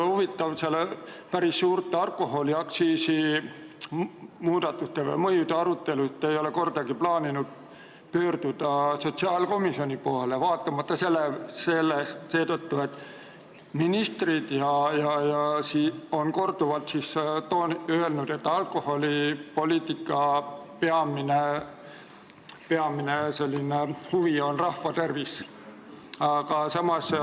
Aga päris suurte alkoholiaktsiisi muudatuste mõju arutelul te ei ole kordagi plaaninud pöörduda sotsiaalkomisjoni poole, kuigi ministrid on korduvalt öelnud, et alkoholipoliitikas on peamine huvi rahva tervis.